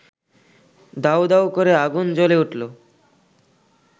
দাউদাউ করে আগুন জ্বলে উঠল